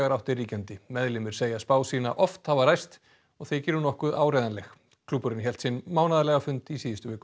áttir ríkjandi meðlimir segja spá sína oft hafa ræst og þykir hún nokkuð áreiðanleg klúbburinn hélt sinn mánaðarlega fund í síðustu viku